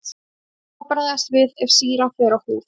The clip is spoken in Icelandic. En hvernig á að bregðast við ef sýran fer á húð?